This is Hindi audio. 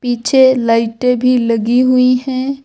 पीछे लाइटें भी लगी हुई है।